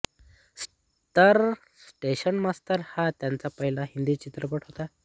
तर station master हा त्यांचा पहिला हिंदी चित्रपट होता